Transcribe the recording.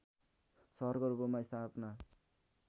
सहरको रूपमा स्थापना